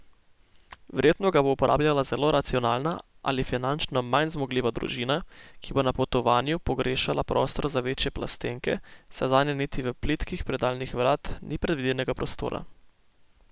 Verjetno ga bo uporabljala zelo racionalna ali finančno manj zmogljiva družina, ki bo na potovanju pogrešala prostor za večje plastenke, saj zanje niti v plitkih predalih vrat ni predvidenega prostora.